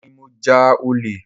Èmi ní mo ja ole